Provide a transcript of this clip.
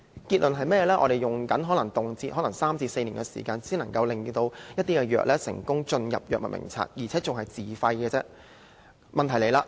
結論是甚麼，可能動輒要3至4年時間，一些藥物才能成功加入醫院管理局的藥物名冊，還只是自費的藥物而已。